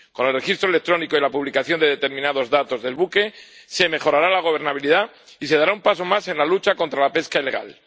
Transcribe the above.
Con el registro electrónico y la publicación de determinados datos del buque se mejorará la gobernabilidad y se dará un paso más en la lucha contra la pesca ilegal.